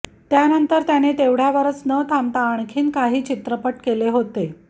त्यानंतर त्याने तेवढ्यावरच न थांबता आणखी काही चित्रपट केले होते